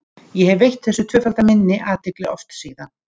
Ég hef veitt þessu tvöfalda minni athygli oft síðan.